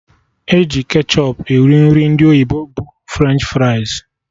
Eji ketchọp eri Nri ndị oyibo bụ French fries